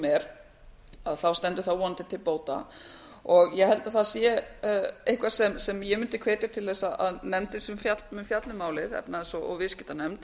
er stendur það vonandi til bóta og ég held að það sé eitthvað sem ég mundi hvetja til þess að nefndin sem mun fjalla um málið efnahags og viðskiptanefnd